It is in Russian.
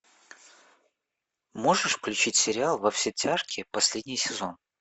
можешь включить сериал во все тяжкие последний сезон